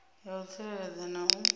ya u tsireledza na u